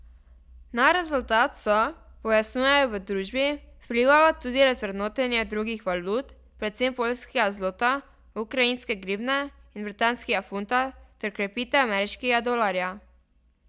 Na rezultat so, pojasnjujejo v družbi, vplivala tudi razvrednotenja drugih valut, predvsem poljskega zlota, ukrajinske grivne in britanskega funta, ter krepitev ameriškega dolarja.